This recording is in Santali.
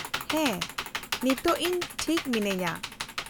-ᱦᱮᱸ, ᱱᱤᱛᱳᱜ ᱤᱧ ᱴᱷᱤᱠ ᱢᱤᱱᱟᱹᱧᱼᱟ ᱾